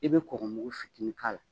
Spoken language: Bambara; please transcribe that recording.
I bɛ kɔgɔmugu fitiinin k'a la